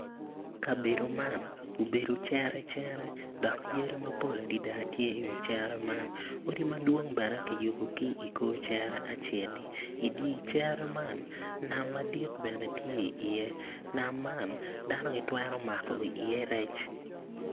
Kabedo man obedo cere cere dok yadi mapol tye i wi cere man odi madwong bene kiyubogi i kor cere meno i dye cere man nam madit bene gitye iye. nam man dano gitwero mako iye rec.